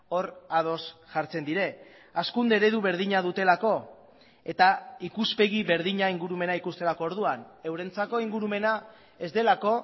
hor ados jartzen dira hazkunde eredu berdina dutelako eta ikuspegi berdina ingurumena ikusterako orduan eurentzako ingurumena ez delako